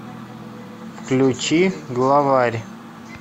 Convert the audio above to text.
включи главарь